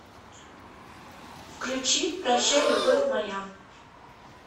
включи прощай любовь моя